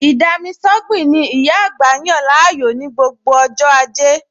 Ì-dami-sọ́gbìn ni ìyá àgbà yàn láàyò ní gbogbo ọj́ ajẹ́